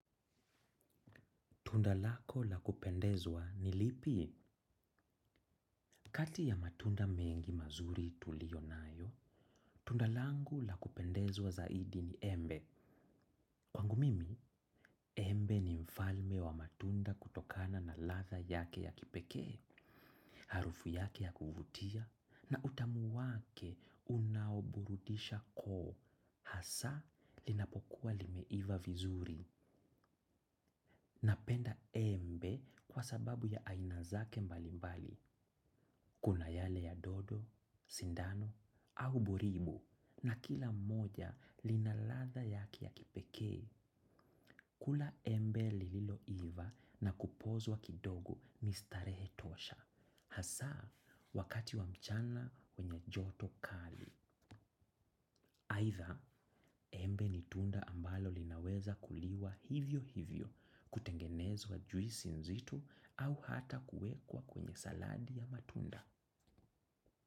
Tundalako lakupendezwa ni lipi? Kati ya matunda mengi mazuri tuliyonayo, tunda langu la kupendezwa zaidi, ni embe. Kwangu mimi, embe ni mfalme wa matunda kutokana na latha yake ya kipekee. Harufu yake ya kuvutia, na utamu wake, unaoburudisha koo. Hasa, linapokuwa limeiva vizuri. Napenda embe, kwa sababu ya ainazake mbali mbali. Kuna yale ya dodo, sindano, au buribu. Na kila mmoja lina ladha yake ya kipekee. Kula embe lililoiva na kupozwa kidogo ni starehe tosha. Hasaa, wakati wa mchana, wenye joto kali. Aitha, embe ni tunda ambalo linaweza kuliwa hivyo hivyo. Kutengenezwa juisi nzito, au hata kuwekwa kwenye saladi ya matunda.